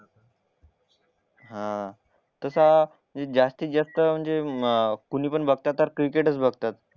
हा तसा जास्तीत जास्त म्हणजे कोणी पण बघतात तर क्रिकेटच